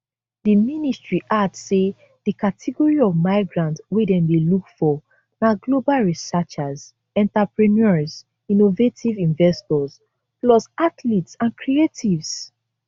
di ministry add say di category of migrants wey dem dey look for na global researchers entrepreneurs innovative investors plus athletes and creatives